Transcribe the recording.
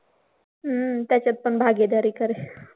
हम्म त्याच्यात पण भागीदारी कर.